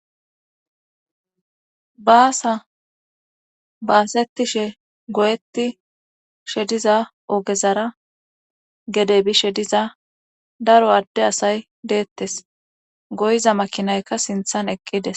Basa basetishe goyetishe diza ogezara gedey bishe diza daro adde asay deettes goyza makinayka sinthan eqqides